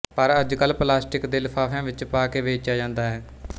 ਪਰ ਅੱਜਕੱਲ ਪਲਾਸਟਿਕ ਦੇ ਲਿਫ਼ਾਫ਼ਿਆਂ ਵਿੱਚ ਪਾਕੇ ਵੇਚਿਆ ਜਾਂਦਾ ਹੈ